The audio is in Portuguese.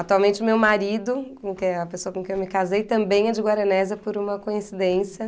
Atualmente, o meu marido, com quem, a pessoa com quem eu me casei, também é de Guaranésia, por uma coincidência.